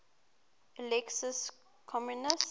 alexius comnenus